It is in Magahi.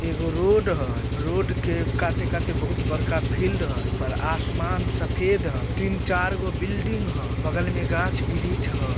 एगो रोड हए रोड के काते-काते बहुत बरका फील्ड हए ऊपर आसमान सफ़ेद ह तीन-चारगो बिल्डिंग ह बगल में गाछ-वृछ हय।